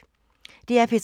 DR P3